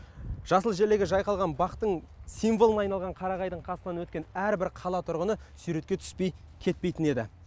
жасыл желегі жайқалған бақтың символына айналған қарағайдың қасынан өткен әрбір қала тұрғыны суретке түспей кетпейтін еді